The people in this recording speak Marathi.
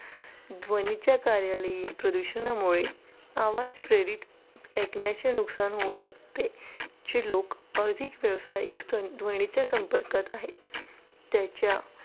ध्वनीच्या कार्यालयीन प्रदूषणामुळे आवाज प्रेरित ऐकण्याचे नुकसान होऊ शकते जे लोक अधिक व्यावसायिक ध्वनीच्या संपर्कात आहेत. त्याच्या